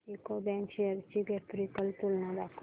UCO bank shares ची graphical तुलना दाखव